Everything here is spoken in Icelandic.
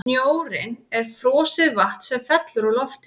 snjórinn er frosið vatn sem fellur úr loftinu